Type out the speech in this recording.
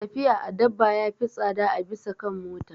Tafiya a dabba ya fi tsada a bisa kan mota.